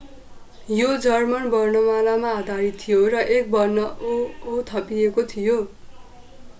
यो जर्मन वर्णमालामा आधारित थियो र एक वर्ण õ/õ” थपिएको थियो।